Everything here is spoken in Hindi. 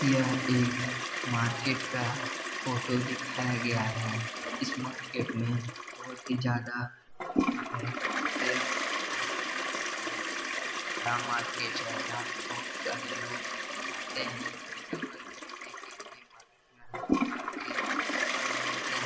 यह एक मार्केट का फोटो दिखाया गया है इस मार्केट में बहोत ही ज्यादा भीड़ है और यह मार्केट बहोत ही बड़ा मार्केट है यहाँ पे बहोत सारे लोग जाते हैं सामान खरदीने के लिए मार्केट में हर प्रकार के सामान भी मिलते हैं।